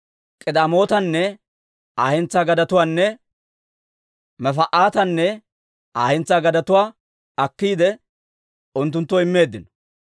K'idemootanne Aa hentsaa gadetuwaanne Mefa'aatanne Aa hentsaa gadetuwaa akkiide, unttunttoo immeeddino.